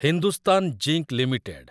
Hindustan zinc limited